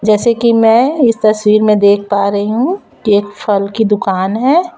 जैसे कि मैं इस तस्वीर में देख पा रही हूं कि एक फल की दुकान है।